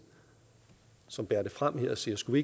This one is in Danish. som bærer det frem her og siger skulle